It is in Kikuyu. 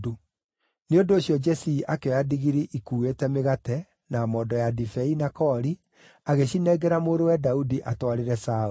Nĩ ũndũ ũcio Jesii akĩoya ndigiri ikuuĩte mĩgate, na mondo ya ndibei, na koori, agĩcinengera mũrũwe Daudi atwarĩre Saũlũ.